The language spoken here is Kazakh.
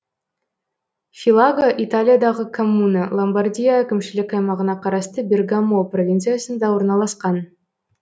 филаго италиядағы коммуна ломбардия әкімшілік аймағына қарасты бергамо провинциясында орналасқан